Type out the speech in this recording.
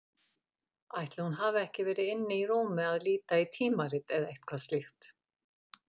Ætli hún hafi ekki verið inni í rúmi að líta í tímarit eða eitthvað slíkt.